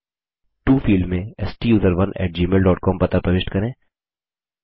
to field में स्टूसरोन gmailcom पता प्रविष्ट करें